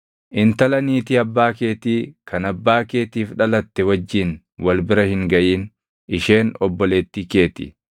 “ ‘Intala niitii abbaa keetii kan abbaa keetiif dhalatte wajjin wal bira hin gaʼin; isheen obboleettii kee ti.